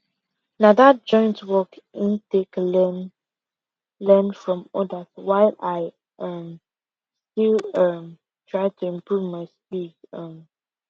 na that joint work in take learn learn from others while i um still dey um try to improve my skills um